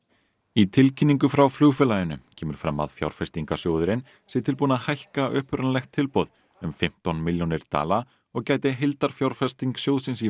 í tilkynningu frá flugfélaginu kemur fram að fjárfestingarsjóðurinn sé tilbúinn að hækka upprunalegt tilboð um fimmtán milljónir dala og gæti heildarfjárfesting sjóðsins í